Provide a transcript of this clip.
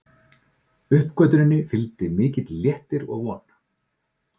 Uppgötvuninni fylgdi mikill léttir og von.